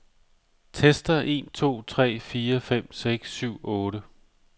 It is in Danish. Tester en to tre fire fem seks syv otte.